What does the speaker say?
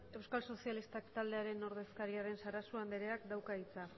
euskal sozialistak taldearen ordezkaria den sarasua andereak dauka hitza